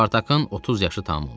Spartakın 30 yaşı tamam olmuşdu.